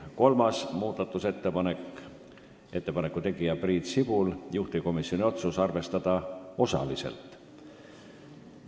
Kolmas muudatusettepanek, ettepaneku tegija on Priit Sibul, juhtivkomisjoni otsus on arvestada osaliselt.